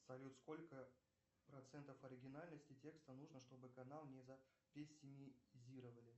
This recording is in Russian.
салют сколько процентов оригинальности текста нужно чтобы канал не запессимизировали